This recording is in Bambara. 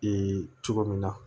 Ee cogo min na